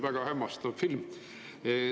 Väga hämmastav film.